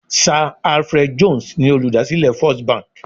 Sa Alfred Jones ni olùdásílẹ̀ First Bank